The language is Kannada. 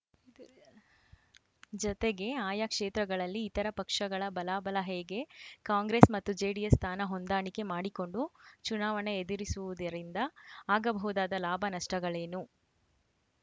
ಜತೆಗೆ ಆಯಾ ಕ್ಷೇತ್ರಗಳಲ್ಲಿ ಇತರ ಪಕ್ಷಗಳ ಬಲಾಬಲ ಹೇಗೆ ಕಾಂಗ್ರೆಸ್‌ ಮತ್ತು ಜೆಡಿಎಸ್‌ ಸ್ಥಾನ ಹೊಂದಾಣಿಕೆ ಮಾಡಿಕೊಂಡು ಚುನಾವಣೆ ಎದುರಿಸುವುದರಿಂದ ಆಗಬಹುದಾದ ಲಾಭನಷ್ಟಗಳೇನು